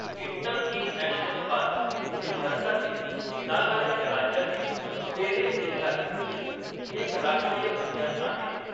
ईन्टंकी राष्ट्रीय उद्यान हे भारतातील नागालँड राज्यातील पेरेन जिल्ह्यात स्थित एक राष्ट्रीय उद्यान आहे.